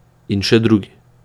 In še drugi.